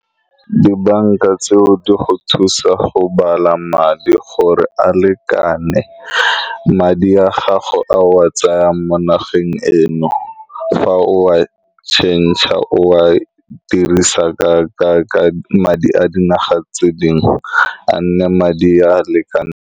Dibanka tseo di go thusa go bala madi gore a lekane. Madi a gago a o a tsayang mo nageng eno fa o a change, o a dirisa ka-ka-ka madi a dinaga tse dingwe, a nne madi a a lekaneng.